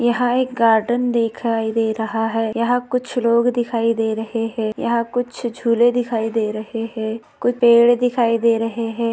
यहा एक गार्डन देखाई दे रहा है। यहा कुछ लोग दिखाई दे रहे है। यहा कुछ झूले दिखाई दे रहे है। कुछ पेड़ दिखाई दे रहे है।